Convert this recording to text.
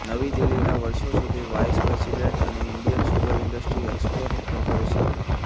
નવી દિલ્હીના વર્ષોસુધી વાઈસ પ્રેસિડેન્ટ અને Indian sugar industry export corporation લી